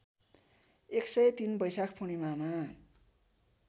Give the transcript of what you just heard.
१०३ वैशाख पूर्णिमामा